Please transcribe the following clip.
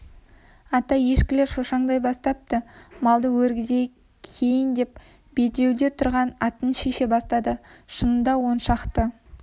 ата ешкілер шошаңдай бастапты малды өргізейік киін деп белдеуде тұрған атын шеше бастады шынында он шақты